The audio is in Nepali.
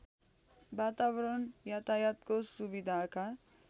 वातावरण यातायातको सुविधाका